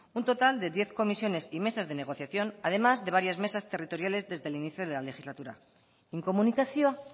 un total de diez comisiones y mesas de negociación además de varias mesas territoriales desde el inicio de la legislatura inkomunikazioa